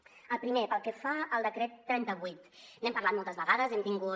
el primer pel que fa al decret trenta vuit n’hem parlat moltes vegades hem tingut